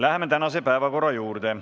Läheme tänase päevakorra juurde.